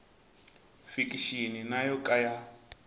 fikixini na yo ka ya